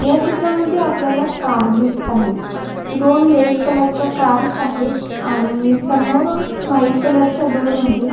ह्या चित्रामध्ये आपल्याला कार दिसत आहेत दोन रेड कलर च्या कार्स आहेत आणि समोर व्हाइट कलर च्या दोन आहेत.